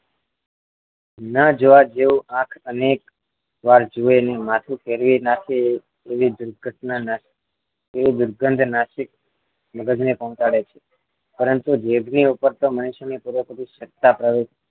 ન જોવા જેવું આંખ અનેકવાર જુએ નહિ માથું ફેરવી નાખે એવી દુર્ઘટના દુર્ગંધ નાસિક મગજને પહોંચાડે છે પરંતુ જીભ ની ઉપર તો મનુષ્યની પૂરેપૂરી સત્તા પ્રવૃત્તિ